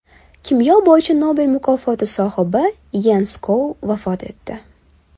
Kimyo bo‘yicha Nobel mukofoti sohibi Yens Skou vafot etdi.